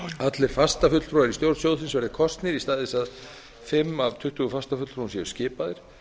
allir fastafulltrúar í stjórn sjóðsins verði kosnir í stað þess að fimm af tuttugu fastafulltrúum séu skipaðir